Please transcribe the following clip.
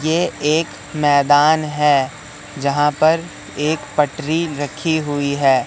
ये एक मैदान है जहां पर एक पटरी रखी हुई है।